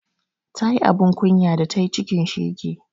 Ta yi abun kunya da tayi cikin shege